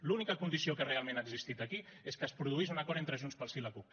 l’única condició que realment ha existit aquí és que es produís un acord entre junts pel sí i la cup